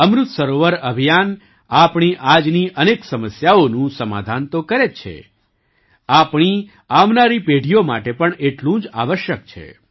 અમૃત સરોવર અભિયાન આપણી આજની અનેક સમસ્યાઓનું સમાધાન તો કરે જ છે આપણી આવનારી પેઢીઓ માટે પણ એટલું જ આવશ્યક છે